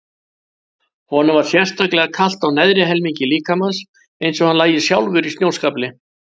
Honum var sérstaklega kalt á neðri helmingi líkamans, eins og hann lægi hálfur í snjóskafli.